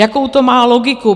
Jakou to má logiku?